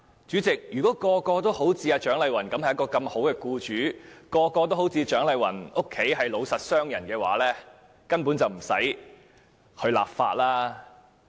主席，如果人人也是如蔣麗芸議員般的好僱主，或人人也是如蔣麗芸議員的家族般的老實商人，便根本無須立法。